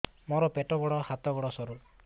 ମୋର ପେଟ ବଡ ହାତ ଗୋଡ ସରୁ